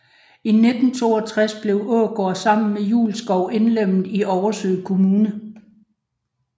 I 1962 blev Ågård sammen med Julskov indlemmet i Oversø Kommune